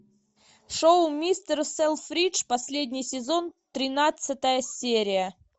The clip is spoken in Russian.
шоу мистер селфридж последний сезон тринадцатая серия